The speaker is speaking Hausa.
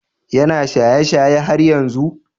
Is he still drinking?